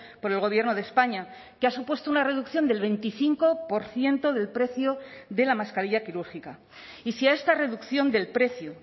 por el gobierno de españa que ha supuesto una reducción del veinticinco por ciento del precio de la mascarilla quirúrgica y si a esta reducción del precio